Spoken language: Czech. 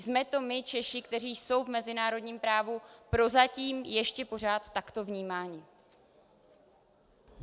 Jsme to my Češi, kdo jsou v mezinárodním právu prozatím ještě pořád takto vnímáni.